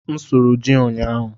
M sụrụ ji ụnyaahụ.